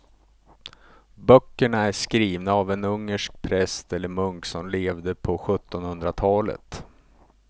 Böckerna är skrivna av en ungersk präst eller munk som levde på sjuttonhundratalet.